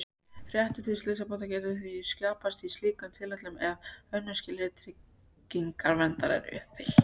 Réttur til slysabóta getur því skapast í slíkum tilfellum ef önnur skilyrði tryggingarverndar eru uppfyllt.